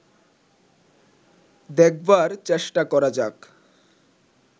দেখবার চেষ্টা করা যাক